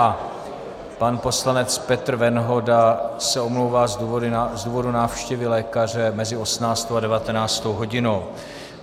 A pan poslanec Petr Venhoda se omlouvá z důvodu návštěvy lékaře mezi 18. a 19. hodinou.